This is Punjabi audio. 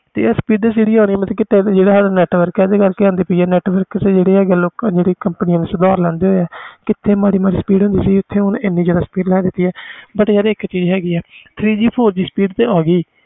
speed ਜਿਹੜੀ ਆਣੀ ਜਿਹੜਾ ਸਾਡਾ network ਆ ਜਿਹੜੀਆਂ ਕੰਪਨੀਆਂ ਸੁਧਾਰ ਲਹਿੰਦੀਆਂ ਪਹਿਲੇ ਕਿਥੇ ਮਾਰੀ ਮਾਰੀ speed ਹੁੰਦੀ ਸੀ ਹੁਣ ਕਿਥੇ ਏਨੀ ਜਿਆਦਾ speed but ਇਕ ਚੀਜ਼ ਹੈ ਗੀ ਹੁਣ ਤੇ three G FOUR G ਆ ਗੀ